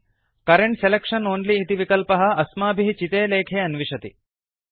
current selection only इति विकल्पः अस्माभिः चिते लेखे अन्विषति